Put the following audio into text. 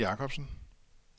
Anker Jacobsen